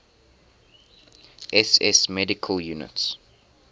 ss medical units